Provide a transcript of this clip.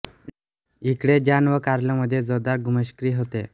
इकडे जॉन व कार्ल मध्ये जोरदार घुमश्च्क्री होते